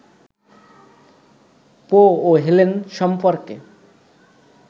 পো ও হেলেন সম্পর্কে